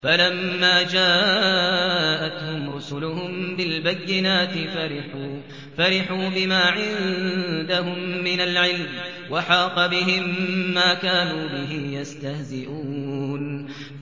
فَلَمَّا جَاءَتْهُمْ رُسُلُهُم بِالْبَيِّنَاتِ فَرِحُوا بِمَا عِندَهُم مِّنَ الْعِلْمِ وَحَاقَ بِهِم مَّا كَانُوا بِهِ يَسْتَهْزِئُونَ